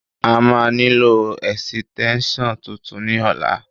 A máa nílò ẹ̀sìtẹ́ńṣọ̀n tuntun ní ọ̀la